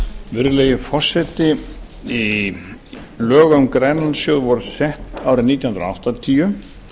virðulegi forseti lög um grænlandssjóð voru sett árið nítján hundruð áttatíu